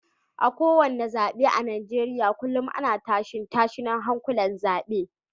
A kowane zabe a Najeriya kullum ana tashe-tashen hankulan zabe